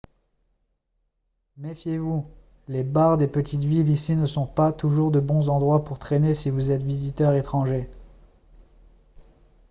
méfiez-vous les bars des petites villes ici ne sont pas toujours de bons endroits pour traîner si vous êtes visiteur étranger